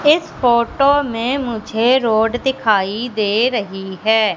इस फोटो में मुझे रोड दिखाई दे रहीं हैं।